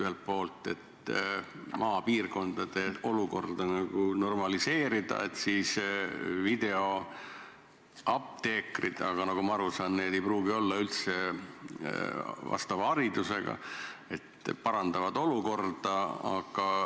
Ühelt poolt, et maapiirkondade olukorda nagu normaliseerida, siis on videoapteekrid, aga nagu ma aru saan, need ei pruugi olla üldse vastava haridusega, lihtsalt parandavad olukorda.